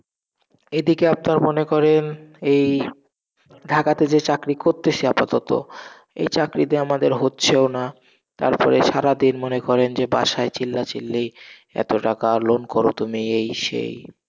এদিকে আপনার মনে করেন, এই ঢাকা তে যে চাকরি করতেসি আপাতত, এই চাকরিতে আমাদের হচ্ছেও না তারপরে সারাদিন মনে করেন যে বাসায় চিল্লাচিল্লি, এত টাকা loan করো তুমি এই সেই,